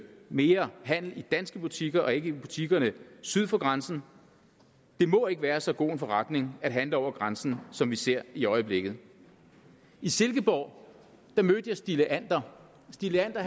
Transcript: mere handel i danske butikker og ikke i butikkerne syd for grænsen det må ikke være så god en forretning at handle over grænsen som vi ser i øjeblikket i silkeborg mødte jeg stig leander stig leander